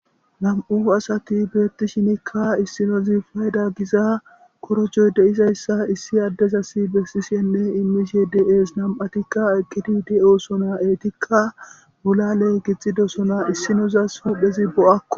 Nam'u asati betishinika issinozi fayida gizza korrojjo deiizayssa issi adezasi bessishene immishe de'esi nam'atika eqqidi de'ossona eetika boolalle gixxidossona issinozasi huphphezi bo'aako.